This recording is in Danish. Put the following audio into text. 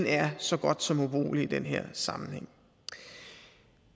er så godt som ubrugelig i den her sammenhæng